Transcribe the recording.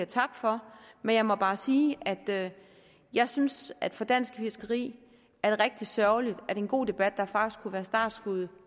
tak for men jeg må bare sige at jeg synes at det for dansk fiskeri er rigtig sørgeligt at en god debat der faktisk kunne være startskuddet